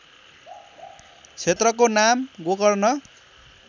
क्षेत्रको नाम गोकर्ण